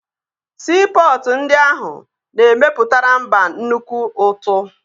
Siipọtụ ndị ahụ na-emepụtara mba nnukwu ụtụ